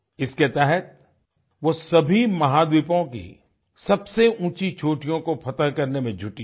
इसके तहत वो सभी महाद्वीपों की सबसे ऊँची चोटियों को फ़तेह करने में जुटी है